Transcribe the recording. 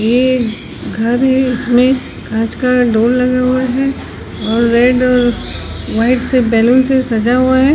ये घर है इसमें कांच का डोर लगा हुआ है और रेड और व्हाइट से बैलून से सजा हुआ है।